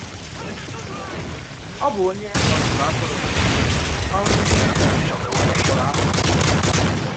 Ọ̀ bụ ònyè ọzụzụ àtùrụ, òrụ̀ ndì Ị̀jị̀pt k̀pọ̀rọ̀ àsị.